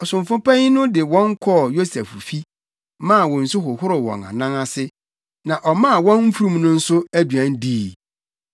Ɔsomfo panyin no de wɔn kɔɔ Yosef fi, maa wɔn nsu hohoroo wɔn anan ase, na ɔmaa wɔn mfurum no nso aduan dii.